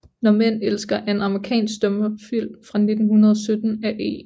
Naar Mænd elsker er en amerikansk stumfilm fra 1917 af E